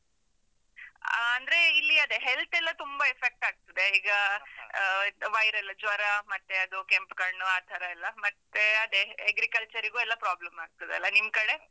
ಆ, ಅಂದ್ರೆ ಇಲ್ಲಿ ಅದೇ health ಎಲ್ಲ ತುಂಬ effect ಆಗ್ತದೆ, ಈಗ, viral ಜ್ವರ, ಮತ್ತೆ ಅದು ಕೆಂಪ್ಕಣ್ಣು ಆ ತರ ಎಲ್ಲ, ಮತ್ತೆ ಅದೆ Agriculture ಗೂ ಎಲ್ಲ problem ಆಗ್ತದಲ್ಲ, ನಿಮ್ಕಡೆ?